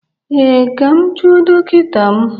Ee, Ka m jụọ dọkịta m